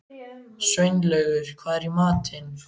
Sveinlaugur, hvað er í matinn?